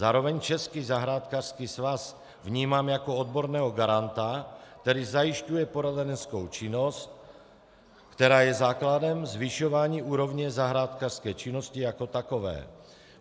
Zároveň Český zahrádkářský svaz vnímám jako odborného garanta, který zajišťuje poradenskou činnost, která je základem zvyšování úrovně zahrádkářské činnosti jako takové.